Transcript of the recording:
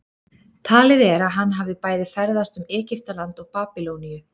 Talið er að hann hafi bæði ferðast um Egyptaland og Babýloníu.